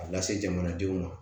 A lase jamanadenw ma